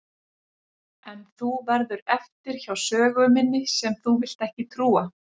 En þú verður eftir hjá sögu minni sem þú vilt ekki trúa.